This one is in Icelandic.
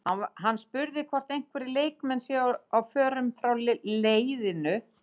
Hann var spurður hvort einhverjir leikmenn séu á förum frá leiðinu?